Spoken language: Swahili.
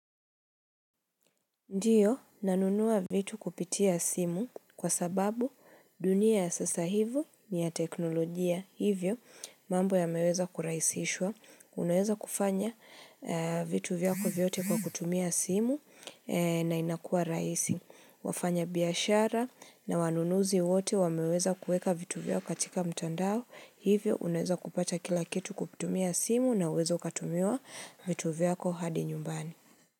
Ndio, nanunua vitu kupitia simu kwa sababu dunia ya sasa hivi ni ya teknolojia hivyo mambo yameweza kurahisishwa. Unaweza kufanya vitu vyako vyote kwa kutumia simu na inakua raisi. Wafanya biashara na wanunuzi wote wameweza kueka vitu vyako katika mtandao hivyo unaweza kupata kila kitu kutumia simu na unaweza ukatumiwa vitu vyako hadi nyumbani.